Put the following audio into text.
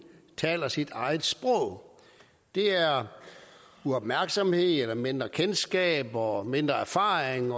taler sit eget sprog det er uopmærksomhed eller mindre kendskab og mindre erfaring